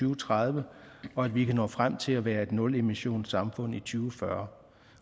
og tredive og at vi kan nå frem til at være et nulemissionssamfund i to tusind